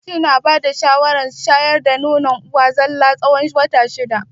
Likitocin na bada shawara shayar da nono uwa tsalla har tsawon wata shida.